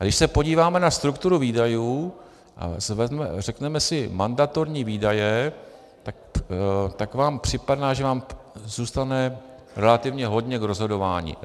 A když se podíváme na strukturu výdajů a řekneme si mandatorní výdaje, tak vám připadá, že vám zůstane relativně hodně k rozhodování.